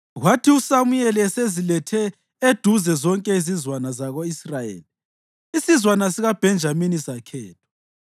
Kwathi uSamuyeli esezilethe eduze zonke izizwana zako-Israyeli, isizwana sikaBhenjamini sakhethwa.